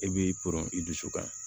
E b'i pɔrɔn i dusu kan